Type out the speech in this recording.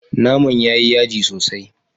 Naman ya yi yaji sosai.